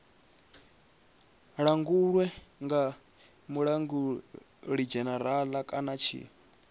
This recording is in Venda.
langulwe nga mulangulidzhenerala kana tshi